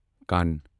کَن